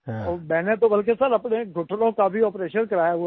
मैंने तो बल्कि सिर अपने घुटनों का भी आपरेशन कराया हुआ है